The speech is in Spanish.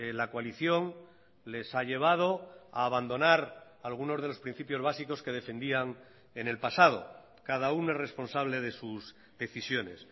la coalición les ha llevado a abandonar algunos de los principios básicos que defendían en el pasado cada uno es responsable de sus decisiones